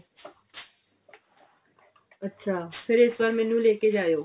ਅੱਛਾ ਫਿਰ ਇਸ ਵਾਰ ਮੈਨੂੰ ਲੈ ਕੇ ਜਾਇਓ